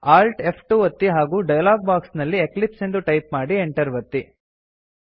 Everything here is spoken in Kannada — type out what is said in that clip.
Alt ಫ್2 ಒತ್ತಿ ಹಾಗೂ ಡಯಲಾಗ್ ಬಾಕ್ಸ್ ನಲ್ಲಿ ಎಕ್ಲಿಪ್ಸ್ ಎಂದು ಟೈಪ್ ಮಾಡಿ Enter ಒತ್ತಿ